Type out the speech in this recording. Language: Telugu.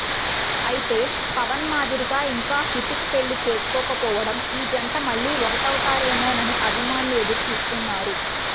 అయితే పవన్ మాదిరిగా ఇంకా హృతిక్ పెళ్లి చేసుకోకపోవడంతో ఈ జంట మళ్లీ ఒకటవుతారేమోనని అభిమానులు ఎదురు చూస్తున్నారు